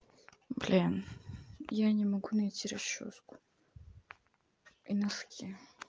блин я не могу найти расчёску и носки